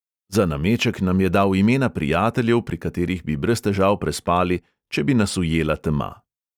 Za nameček nam je dal imena prijateljev, pri katerih bi brez težav prespali, če bi nas ujela tema.